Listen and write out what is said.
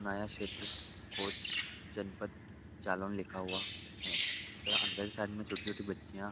नया क्षेत्र कोच जनपद जालौन लिखा हुआ है तथा अंदर के साइड में छोटी छोटी बच्चियां --